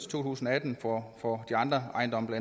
to tusind og atten for for andre ejendomme